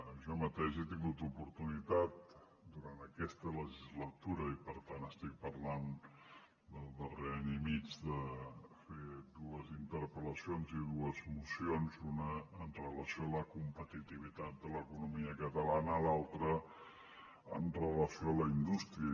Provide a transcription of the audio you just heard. jo mateix he tingut oportunitat durant aquesta legislatura i per tant estic parlant del darrer any i mig de fer dues interpel·lacions i dues mocions una amb relació a la competitivitat de l’economia catalana l’altra amb relació a la indústria